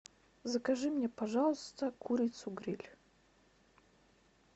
закажи мне пожалуйста курицу гриль